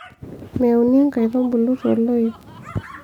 meuni nkaitubulu toloip